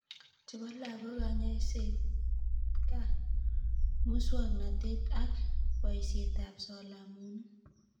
Chebo lagok konyoiset gaa. Muswoknatet ak boisietap solomonik